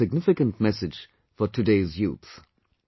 This is a significant message for today's youth